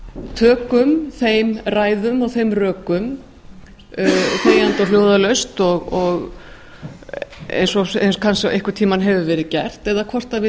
tökum þeim ræðum og þeim rökum þegjandi og hljóðalaust eins og einhvern tíma hefur verið gert eða hvort við